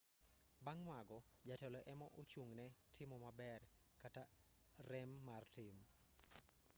bang' mago jatelo ema ochung'ne timo maber kata rem mar tim